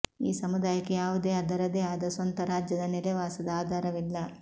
ಈ ಸಮುದಾಯಕ್ಕೆ ಯಾವುದೇ ಅದರದೇ ಆದ ಸ್ವಂತ ರಾಜ್ಯದ ನೆಲೆವಾಸದ ಆಧಾರವಿಲ್ಲ